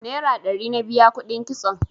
Nera ɗari na biya kuɗin kitson